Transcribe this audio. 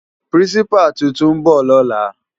Pirinsipá tútún bò lòlá